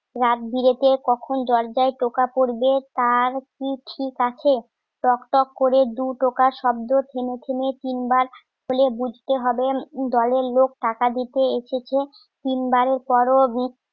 রাতবিরেতে কখন জর্দায় পোকা পরবে. কার, কিপ আছে? টক টক করে দু ঢোকা শব্দ কিনেছিনে তিনবার খুলে বুঝতে হবে দলের লোক টাকা দিতে এসেছে তিনবারের পরও